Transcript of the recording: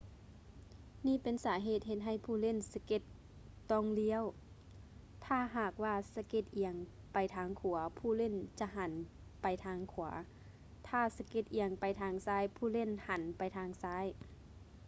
ນີ້ເປັນສາເຫດເຮັດໃຫ້ຜູ້ຫຼິ້ນສະເກັດຕ້ອງລ້ຽວ ຖ້າຫາກວ່າສະເກັດອຽງໄປທາງຂວາຜູ້ຫຼີ້ນຈະຫັນໄປທາງຂວາ ຖ້າສະເກັດອຽງໄປທາງຊ້າຍຜູ້ຫຼີ້ນຫັນໄປທາງຊ້າຍ